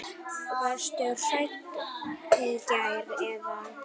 Varstu hrædd í gær eða?